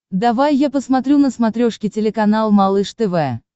давай я посмотрю на смотрешке телеканал малыш тв